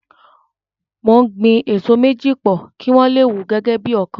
Mo ń gbin èso méjì pò, kí wọ́n le wù gẹ́gẹ́ bí ọ̀kan.